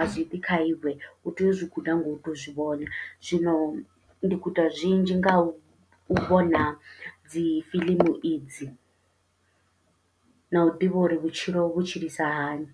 azwi ḓi kha iwe, utea u zwi guda ngau tou zwivhona. Zwino ndi guda zwinzhi ngau vhona dzi fiḽimu idzi, nau ḓivha uri vhutshilo vhu tshilisa hani.